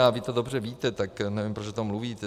A vy to dobře víte, tak nevím, proč o tom mluvíte.